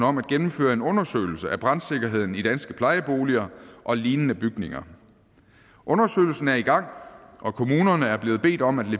om at gennemføre en undersøgelse af brandsikkerheden i danske plejeboliger og lignende bygninger undersøgelsen er i gang og kommunerne er blevet bedt om at